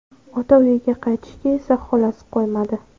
Ota uyiga qaytishiga esa xolasi qo‘ymadi.